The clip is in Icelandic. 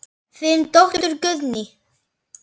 Þín dóttir Guðný.